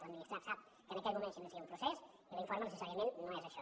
l’administrat sap que en aquell moment s’inicia un procés i l’informe necessàriament no és això